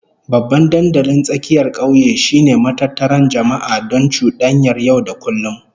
Babban dandalin tsakiyar kauye shine matattara jama'a don cudanyar yau da kullum